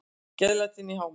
Gleðilætin í hámarki.